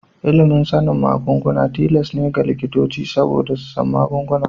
Ilimin sanin magunguna tilas ne ga likitoci saboda su san magunguna.